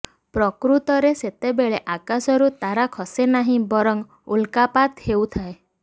ପ୍ରକୃତରେ ସେତେବେଳେ ଆକାଶରୁ ତାରା ଖସେ ନାହିଁ ବରଂ ଉଲ୍କାପାତ ହେଉଥାଏ